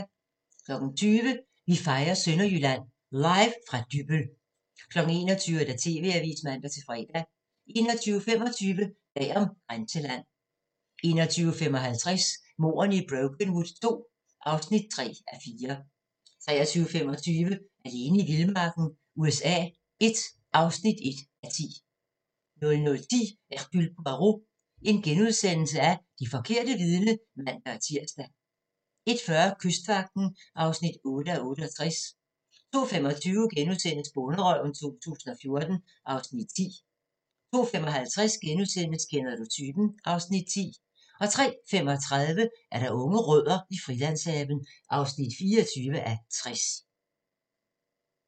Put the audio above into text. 20:00: Vi fejrer Sønderjylland - Live fra Dybbøl 21:00: TV-avisen (man-fre) 21:25: Bag om "Grænseland" 21:55: Mordene i Brokenwood II (3:4) 23:25: Alene i vildmarken USA I (1:10) 00:10: Hercule Poirot: Det forkerte vidne *(man-tir) 01:40: Kystvagten (8:68) 02:25: Bonderøven 2014 (Afs. 10)* 02:55: Kender du typen? (Afs. 10)* 05:35: Unge rødder i Frilandshaven (24:60)